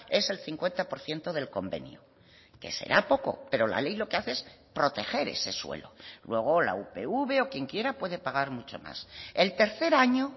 es el cincuenta por ciento del convenio que será poco pero la ley lo que hace es proteger ese suelo luego la upv o quien quiera puede pagar mucho más el tercer año